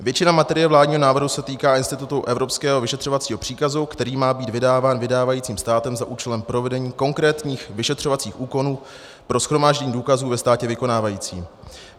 Většina materie vládního návrhu se týká institutu evropského vyšetřovacího příkazu, který má být vydáván vydávajícím státem za účelem provedení konkrétních vyšetřovacích úkonů pro shromáždění důkazů ve státě vykonávajícím.